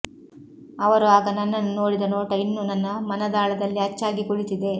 ಅವರು ಆಗ ನನ್ನನ್ನು ನೋಡಿದ ನೋಟ ಇನ್ನೂ ನನ್ನ ಮನದಾಳದಲ್ಲಿ ಅಚ್ಚಾಗಿ ಕುಳಿತಿದೆ